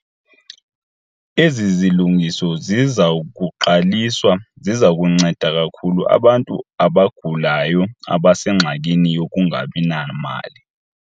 Ezi zilungiso ziza kuqaliswa ziza kunceda kakhulu abantu abagulayo abasengxakini yokungabi namali.